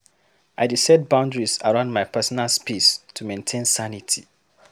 I dey set boundaries around my personal space to maintain sanity.